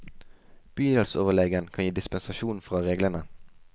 Bydelsoverlegen kan gi dispensasjon fra reglene.